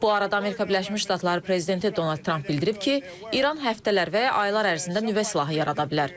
Bu arada Amerika Birləşmiş Ştatları Prezidenti Donald Tramp bildirib ki, İran həftələr və ya aylar ərzində nüvə silahı yarada bilər.